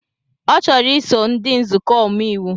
Ọ chọrọ iso ndị nzukọ omeiwu